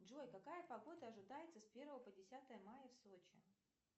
джой какая погода ожидается с первого по десятое мая в сочи